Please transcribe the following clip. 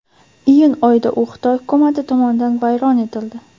Iyun oyida u Xitoy hukumati tomonidan vayron etildi.